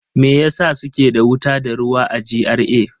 Me yasa suke da wuta da ruwa a GRA?